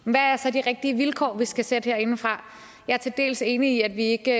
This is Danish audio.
hvad er så de rigtige vilkår vi skal sætte herindefra jeg er til dels enig i at vi ikke